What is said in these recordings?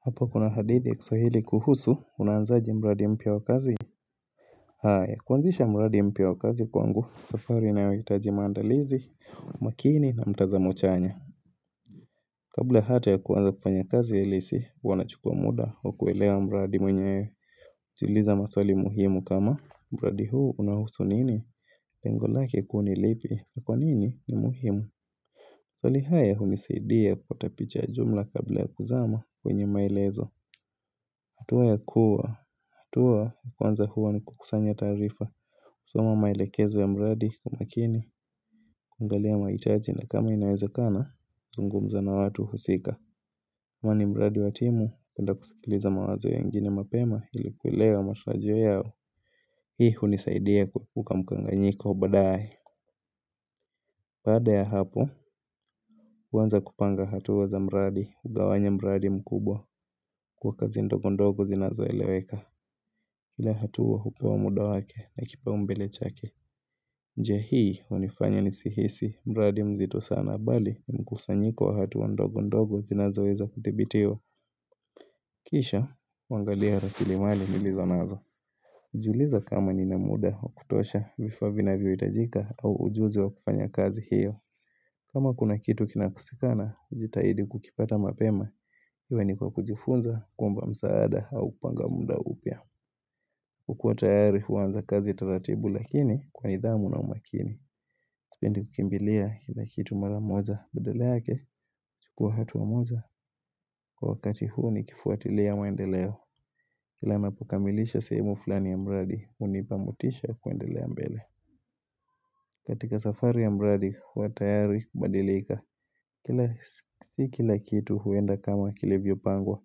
Hapo kuna hadithi ya kiswahili kuhusu unaanzaji mradi mpya wa kazi haya kuanzisha mradi mpya wa kazi kwangu safari ina yohitaji maandalizi makini na mtazamo chanya Kabla hata ya kuanza kufanya kazi halisi huwa nachukua muda wa kuelewa mradi mwenyewe hujiuliza maswali muhimu kama Mbadi huu unahusu nini lengo lake kuu nilipi na kwa nini ni muhimu Swali haya unisaidia kupatapicha ya jumla kabla ya kuzama kwenye maelezo hatua ya kuwa, hatua ya kwanza huwa ni kukusanya taarifa soma maelekezo ya mradi kwa makini, kuangalia mahitaji na kama inawezakana, zungumza na watu husika kwani mradi watimu, penda kusikiliza mawazo ya wengine mapema ilikuelewa matarajio yao Hii hunisaidia kukamukanganyiko baadae baada ya hapo, huanza kupanga hatua za mradi, hugawanya mradi mkubwa, kwa kazi ndogondogo zinazo eleweka Kila hatua hupewa muda wake na kipa umbele chake njia hii hunifanya nisihisi mradi mzito sana bali mkusanyiko wa hatua ndogo ndogo zinazoweza kuthibitiwa Kisha, kuangalia rasili mali nilizo nazo hujiuliza kama nina muda wa kutosha vifaa vina vyo hitajika au ujuzi wa kufanya kazi hiyo kama kuna kitu kinakosekana jitahidi kukipata mapema Iwe nikwa kujifunza, kuomba msaada au kupanga muda upya kukua tayari huanza kazi taratibu lakini kwa nidhamu na umakini Sipendi kukimbilia kitu mara moja Badala yake chukua hatua moja Kwa wakati huu nikifuatilia maendeleo Kila napokamilisha sehemu fulani ya mradi hunipamotisha kuendelea mbele katika safari ya mradi huwa tayari kubadilika Kila sikila kitu huenda kama kilivyo pangwa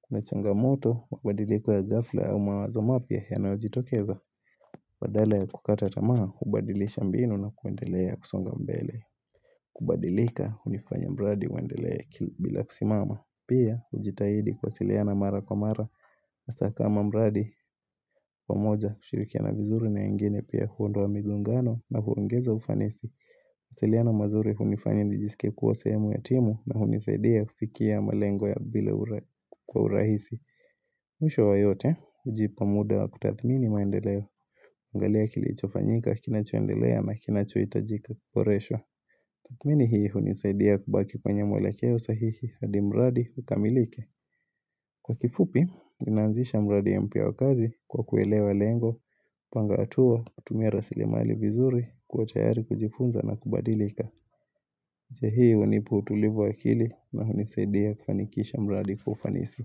Kuna changamoto mabadiliko ya ghafla au mawazo mapya yanayojitokeza Badala ya kukata tamaa, hubadilisha mbinu na kuendelea kusonga mbele kubadilika, unifanya mradi uendelee kila bila kusimama Pia, hujitahidi kuwa siliana mara kwa mara hasa kama mradi, pamoja, kushirikiana vizuri na wengine pia huondoa migongano na huongeza ufanisi Siliano mazuri, hunifanya nijisikie kuwa sehemu ya timu na unisaidia kufikia malengo ya bila kwa urahisi Mwisho wa yote, hujipa muda wa kutathmini maendeleo, angalia kilichofanyika kina choendelea na kina chohitajika kuboreshwa. Tathmini hii hunisaidia kubaki kwenye mwelekeo sahihi hadi mradi ukamilike. Kwa kifupi, nina anzisha mradi mpya wakazi kwa kuelewa lengo, panga hatuo, tumia rasrimali vizuri, kuwa tayari kujifunza na kubadilika. Uche hii hunipa utulivu waakili na hunisaidia kufanikisha mradi kwa ufanisi.